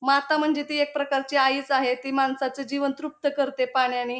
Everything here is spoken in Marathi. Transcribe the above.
माता म्हणजे ती एक प्रकारची आईच आहे ती माणसाचं जीवन तृप्त करते पाण्यानी.